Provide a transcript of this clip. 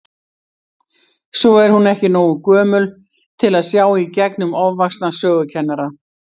Svo er hún ekki nógu gömul til að sjá í gegnum ofvaxna sögukennara.